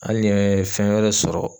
Hali ni n ye fɛn wɛrɛ sɔrɔ